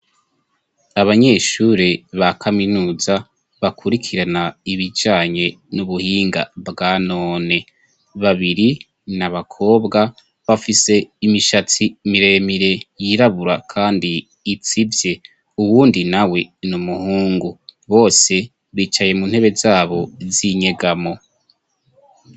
Abanyeshure ba kaminuza bakurikirana ibijanye n'ubuhinga bwa none; babiri ni abakobwa bafise imishatsi miremire yirabura kandi itsivye. Uwundi nawe ni umuhungu. Bose bicaye mu ntebe zabo z'inyegamo.